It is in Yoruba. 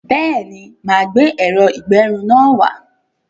Béèni, máa gbé ẹ̀rọ-ìgbẹrun náà wá